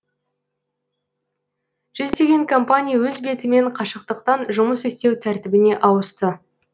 жүздеген компания өз бетімен қашықтықтан жұмыс істеу тәртібіне ауысты